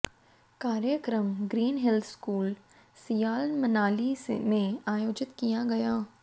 कार्यक्रम green hills school Siyal Manali में आयोजित किया गया